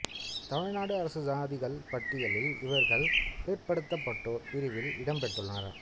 தமிழ்நாடு அரசு சாதிகள் பட்டியலில் இவர்கள் பிற்படுத்தப்பட்டோர் பிரிவில் இடம் பெற்றுள்ளனர்